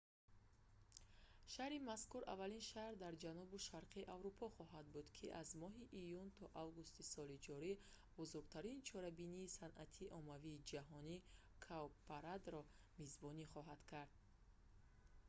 шаҳри мазкур аввалин шаҳр дар ҷанубу шарқи аврупо хоҳад буд ки аз моҳи июн то августи соли ҷорӣ бузургтарин чорабинии санъати оммавии ҷаҳон – «cowparade"‑ро мизбонӣ хоҳад кард